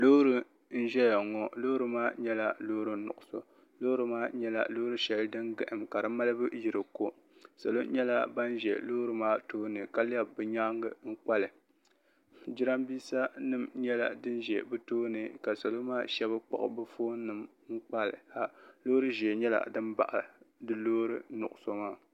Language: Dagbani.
loori n-ʒeya ŋɔ loori maa nyɛla loori nuɣisɔ loori maa nyɛla loori shɛli din gahim ka di maalibu yi di ko salo nyɛla ban ʒe loori maa tooni ka lɛbi bɛ nyaaga n-kpa li jiraaminsa nima nyɛla din ʒe bɛ tooni ka salo maa shɛba kpuɣi bɛ foon nima n-kpa li ha loori ʒee nyɛla din baɣi di loori nuɣisɔ maa.